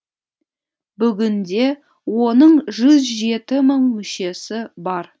бүгінде оның жүз жеті мың мүшесі бар